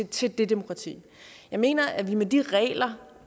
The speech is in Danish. til det demokrati jeg mener at vi med de regler